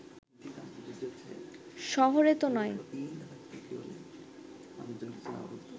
শহরে তো নয়